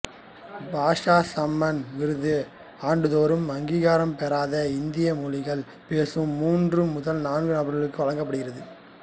பாஷா சம்மான் விருது ஆண்டு தோறும் அங்கீகாரம் பெறாத இந்திய மொழிகள் பேசும் மூன்று முதல் நான்கு நபர்களுக்கு வழங்கப்படுகிறது